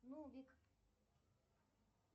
нубик